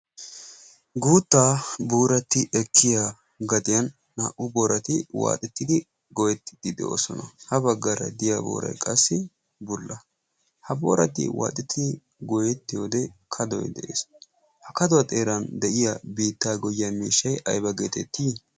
guuttaa buuratti ekkiya gadiyan naa77u boorati waaxettidi goettiddi de7oosona. ha baggaara diya boorai qassi bulla ha boorati waaxettidi goyetti wode kadoi de7ees ha kaduwaa xeeran de7iya biittaa goyyiya miishshai aiba geetettii?